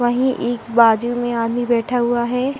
वही एक बाजू में आदमी बैठा हुआ है।